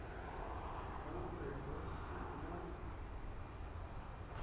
go be go se mo